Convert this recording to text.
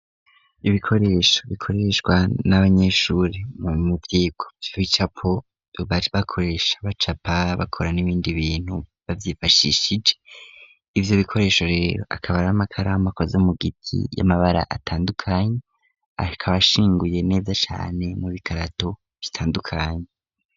Ibikoresho, bikoreshwa ,n'abanyeshuri mu muvyiko ,bicapo bakoresha bacapa bakora n'ibindi bintu baVyifashishije, ivyo bikoresho rero akaba ar'amakaramu akoze mugiti y'amabara ,atandukanye akabashinguye neza cane mu bikarato bitandukanye.